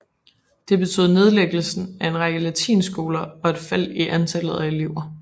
Det betød nedlæggelsen af en række latinskoler og et fald i antallet af elever